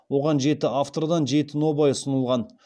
оған жеті автордан жеті нобай ұсынылған